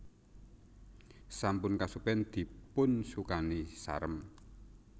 Sampun kesupen dipun sukani sarem